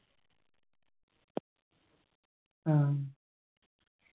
ആ